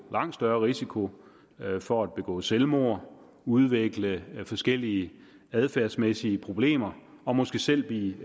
langt større risiko for at begå selvmord udvikle forskellige adfærdsmæssige problemer og måske selv blive